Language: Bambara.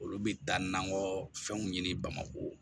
Olu bɛ taa n'an ka fɛnw ɲini bamakɔ